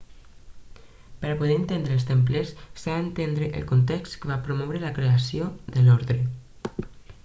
per a poder entendre els templers s'ha d'entendre el context que va promoure la creació de l'ordre